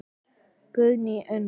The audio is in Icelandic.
Guðný Unnur.